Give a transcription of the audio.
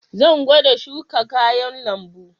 Zan gwada shuka kayan lambu.